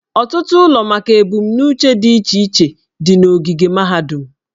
Ọtụtụ ụlọ maka ebumnuche dị iche iche dị n'ogige mahadum.